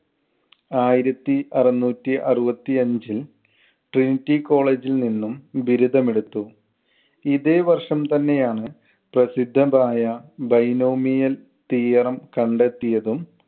ആയിരത്തി അറുനൂറ്റി അറുപത്തിഅഞ്ചിൽ trinity college ൽ നിന്നും ബിരുദം എടുത്തു. ഇതേ വർഷം തന്നെയാണ് പ്രസിദ്ധമായ binomial theorem കണ്ടെത്തിയതും